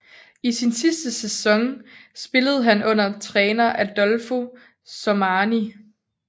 I sin sidste sæson spillede han under træner Adolfo Sormani